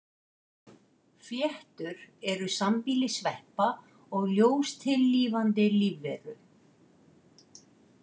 Fléttur eru sambýli sveppa og ljóstillífandi lífveru.